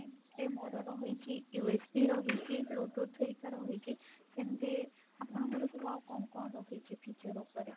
ଏ ମୋର ରହିଛି USB ରହିଛି bluetooth ହେରିକା ରହିଛି ସେମତି ଆପଣଙ୍କର ସବୁ ଆଉ କଣ କଣ ରହିଛି feature ଉପରେ?